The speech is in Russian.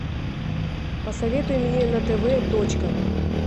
посоветуй мне на тв точка